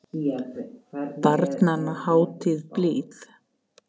Barnanna hátíð blíð.